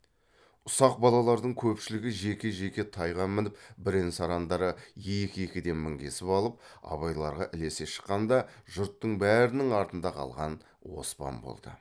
ұсақ балалардың көпшілігі жеке жеке тайға мініп бірен сарандары екі екіден мінгесіп алып абайларға ілесе шыққанда жұрттың бәрінің артында қалған оспан болды